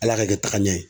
Ala ka kɛ tagaɲɛ ye